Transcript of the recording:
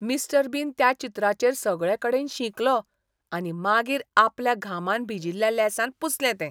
Mister Bean त्या चित्राचेर सगळेकडेन शिंकलो आनी मागीर आपल्या घामान भिजिल्ल्या लेंसान पुसलें तें.